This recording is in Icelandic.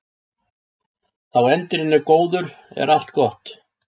Þá endirinn er góður er allt gott.